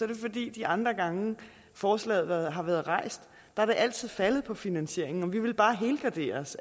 det fordi de andre gange forslaget har været rejst er det altid faldet på finansieringen og vi ville bare helgardere